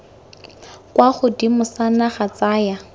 kwa godimo sa naga tsaya